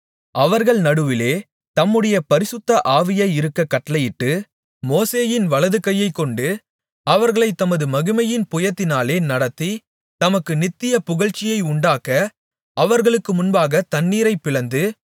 அவர்கள் நடுவிலே தம்முடைய பரிசுத்த ஆவியை இருக்கக் கட்டளையிட்டு மோசேயின் வலதுகையைக் கொண்டு அவர்களைத் தமது மகிமையின் புயத்தினாலே நடத்தி தமக்கு நித்திய புகழ்ச்சியை உண்டாக்க அவர்களுக்கு முன்பாகத் தண்ணீரைப் பிளந்து